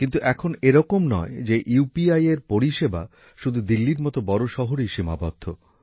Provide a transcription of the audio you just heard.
কিন্তু এখন এরকম নয় যে ইউপিআই এর পরিষেবা শুধু দিল্লির মত বড় শহরেই সীমাবদ্ধ